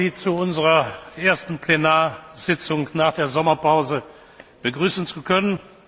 Ich freue mich, Sie zu unserer ersten Plenarsitzung nach der Sommerpause begrüßen zu können.